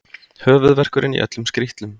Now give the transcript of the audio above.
Höfuðverkurinn í öllum skrítlum.